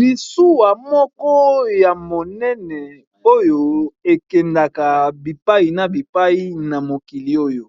Masuwa moko ya monene oyo ekendaka bipai na bipai ,na mokili oyo